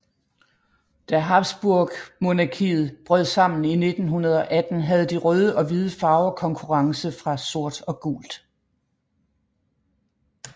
Da Habsburgmonarkiet brød sammen i 1918 havde de røde og hvide farver konkurrence fra sort og gult